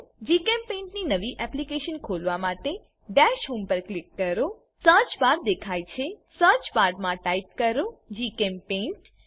જીચેમ્પેઇન્ટ ની નવી એપ્લીકેશન ખોલવા માટે દશ હોમ પર ક્લિક કરો સર્ચ બાર દેખાય છે સર્ચ બાર માં ટાઈપ કરો જીચેમ્પેઇન્ટ